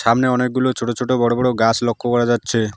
সামনে অনেকগুলো ছোট ছোট বড় বড় গাস লক্ষ করা যাচ্ছে।